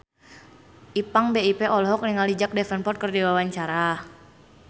Ipank BIP olohok ningali Jack Davenport keur diwawancara